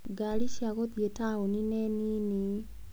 Ngari cia gũthiĩ taũni-inĩ nĩ nini.